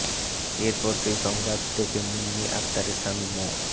এর পর সেই সংবাদ দেখে মুন্নি আক্তারের স্বামী মো